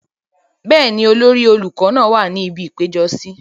bẹ́ẹ̀ni, olórí àwọn olùkọ náà wà ní ibi ìpéjọsí